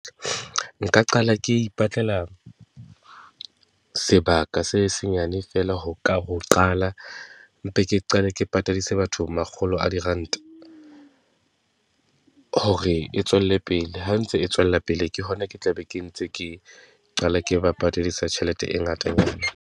Nka qala ke ipatlela sebaka se senyane feela ho ka, ho qala. Mpe ke qale ke patadisa batho makgolo a diranta, hore e tswelle pele. Ha ntse e tswella pele, ke hona ke tla be ke ntse ke qala ke ba patadisa tjhelete e ngatanyana.